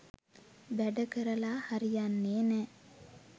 වැඩ කරලා හරියන්නේ නැ.